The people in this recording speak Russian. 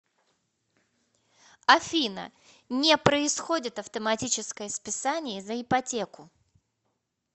афина не происходит автоматическое списание за ипотеку